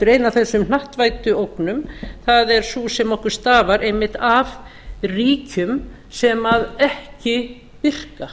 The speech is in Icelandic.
ein af þessum hnattvæddu ógnum það er sú sem okkur stafar einmitt af ríkjum sem ekki virka